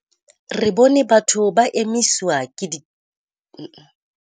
Re bone batho ba emiswa diterateng ke baahi, mme ba qobellwa ho hlahisa boitsebiso bo netefatsang boemo ba bona ba bofalledi.